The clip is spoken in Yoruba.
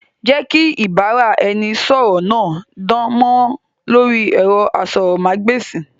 Jẹ́ kí ìbára ẹni sọ̀rọ̀ náà dán mọ́rán lórí ẹ̀rọ asọ̀rọ̀mágb'èsì!